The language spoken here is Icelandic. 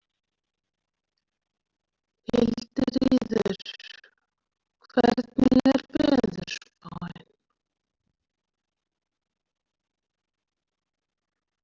Hildiríður, hvernig er veðurspáin?